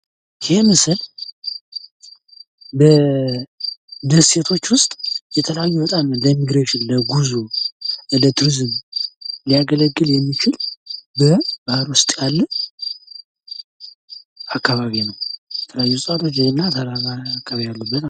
ይህ ምስል በደሴቶች ውስጥ የተለያዩ በጣም ለኢሚግሬሽን ለጉዞ ለቱሪዝም ሊያገለግል የሚችል በባህር ውስጥ ያለ አካባቢ ነው። የተለያዩ እጽዋቶችና ተራራ አካባቢ ያሉበት ማለት ነው።